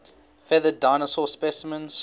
feathered dinosaur specimens